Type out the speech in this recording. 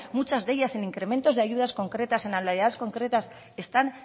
muchas de ellas en incrementos de ayudas concretas en anualidades concretas están